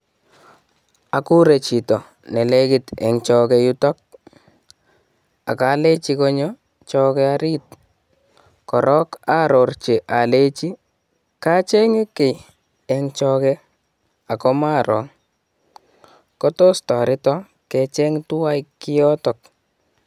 Agure chito neneki en choke yutok ak alenji konyoo choke orit korong ororchi olenchi kochenge kii en choke ako maroo kotos toreton kecheng twan kiotok.